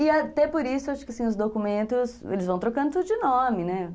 E até por isso, acho que assim, os documentos, eles vão trocando tudo de nome, né?